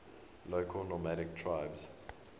local nomadic tribes